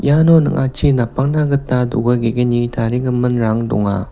iano ning·achi napangna gita do·ga ge·gni tarigiminrang donga.